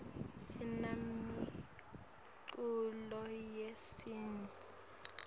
sinemiculo yesintfu